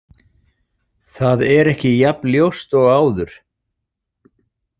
Það er ekki jafnljóst og áður.